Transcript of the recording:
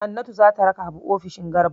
Hannatu za ta raka Habu ofishin Garba.